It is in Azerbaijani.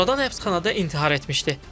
Sonradan həbsxanada intihar etmişdi.